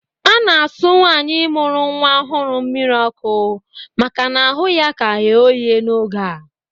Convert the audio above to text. A na-asụ nwaanyị mụrụ nnwa ọhụrụ mmiri ọkụ maka na ahụ ya ka ghe oghe n'oge a